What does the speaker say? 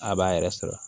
A b'a yɛrɛ sɔrɔ